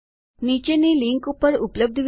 નીચે આપેલ લીનક ઉપર ઉપલબ્ધ વિડીઓ જુઓ